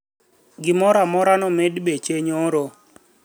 kila kitu kiliongezwa bei jana